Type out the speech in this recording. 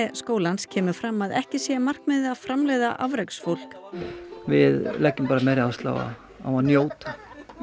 skólans kemur fram að ekki sé markmiðið að framleiða afreksfólk við leggjum meiri áherslu á á að njóta